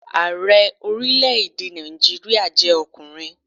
Ààrẹ orílẹ̀-èdè Nàìjíríà jẹ́ ọkùnrin